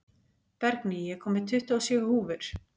Bergný, ég kom með tuttugu og sjö húfur!